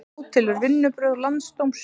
Átelur vinnubrögð landsdóms